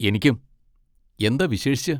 എനിക്കും. എന്താ വിശേഷിച്ച്?